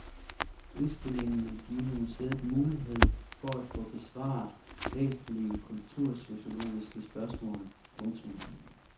Udstillingen vil give museet mulighed for at få besvare væsentlige kultursociologiske spørgsmål. punktum